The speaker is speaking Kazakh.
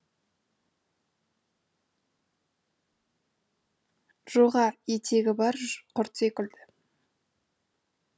жоға етегі бар құрт секілді